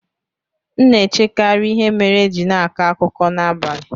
M na-echekarị ihe mere e ji na-akọ akụkọ n'abalị.